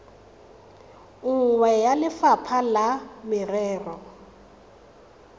nngwe ya lefapha la merero